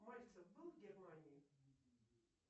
мальцев был в германии